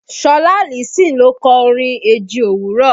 Ṣọlá Allyson ló kọ orin eji òwúrọ̀